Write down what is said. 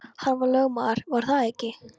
Hann var lögmaður, var það ekki?